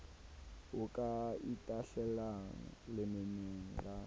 o ka itahlelang lemeneng la